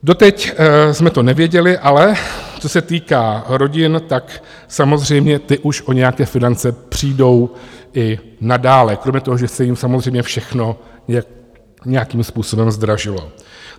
Doteď jsme to nevěděli, ale co se týká rodin, tak samozřejmě ty už o nějaké finance přijdou i nadále, kromě toho, že se jim samozřejmě všechno nějakým způsobem zdražilo.